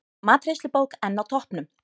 Matreiðslubók enn á toppnum